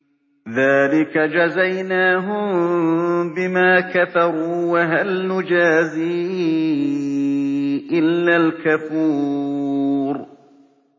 ذَٰلِكَ جَزَيْنَاهُم بِمَا كَفَرُوا ۖ وَهَلْ نُجَازِي إِلَّا الْكَفُورَ